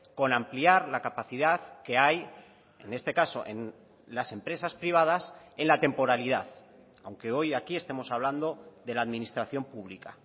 con ampliar la capacidad que hay en este caso en las empresas privadas en la temporalidad aunque hoy aquí estemos hablando de la administración pública